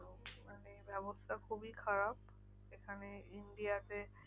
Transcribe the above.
ব্যবস্থা খুবই খারাপ এখানে India তে